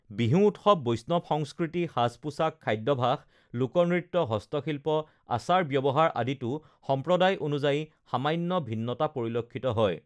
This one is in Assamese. বিহু উৎসৱ বৈষ্ণৱ সংস্কৃতি সাজ-পোছাক খাদ্যভাস লোকনৃত্য হস্তশিল্প আচাৰ-ব্যৱহাৰ আদিতো সম্প্ৰদায় অনুযায়ী সামান্য ভিন্নতা পৰিলক্ষিত হয়